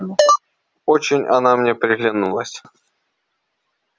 очень она мне приглянулась